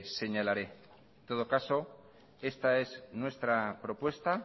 señalaré en todo caso esta es nuestra propuesta